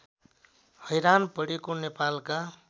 हैरान परेको नेपालका